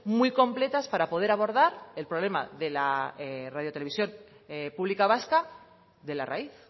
muy completas para poder abordar el problema de la radio televisión pública vasca de la raíz